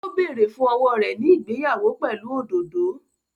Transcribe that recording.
Ó bẹ̀rẹ̀ fún owó rẹ̀ ní ìgbéyàwó pẹ̀lú òdòdó